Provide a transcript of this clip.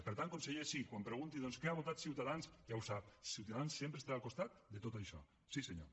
per tant conseller sí quan pregunti doncs què ha votat ciutadans ja ho sap ciutadans sempre estarà al costat de tot això sí senyor